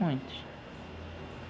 Muitos.